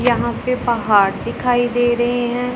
यहां पे पहाड़ दिखाई दे रहे हैं।